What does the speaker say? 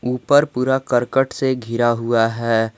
ऊपर पूरा करकट से घिरा हुआ है।